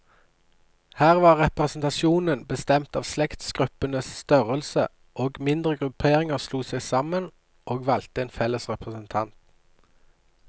Her var representasjonen bestemt av slektsgruppenes størrelse, og mindre grupperinger slo seg sammen, og valgte en felles representant.